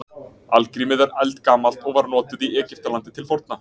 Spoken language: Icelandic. Algrímið er eldgamalt og var notuð í Egyptalandi til forna.